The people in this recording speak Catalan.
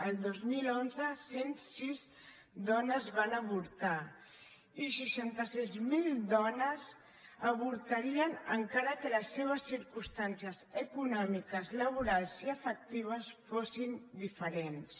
el dos mil onze cent i sis dones van avortar i seixanta sis mil dones avortarien encara que les seves circumstàncies econòmiques laborals i afectives fossin diferents